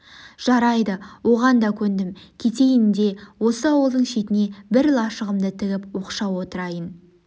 жарайды оған да көндім кетейін де осы ауылдың шетіне бір лашығымды тігіп оқшау отырайын